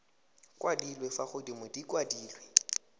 kwadilwe fa godimo di kwadilwe